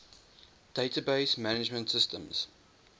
database management systems